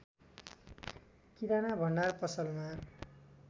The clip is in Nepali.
किराना भण्डार पसलमा